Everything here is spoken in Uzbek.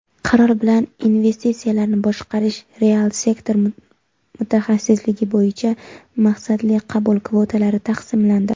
qaror bilan "Investitsiyalarni boshqarish (real sektor)" mutaxassisligi bo‘yicha maqsadli qabul kvotalari taqsimlandi.